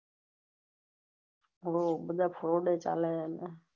હમમ બીજા froud ઓ ચાલો